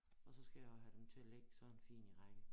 Og så skal jeg jo have dem til at ligge sådan fint i række